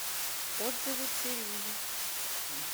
отзывы цирюльникъ